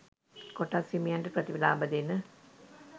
කොටස් හිමියන්ට ප්‍රතිලාභ දෙන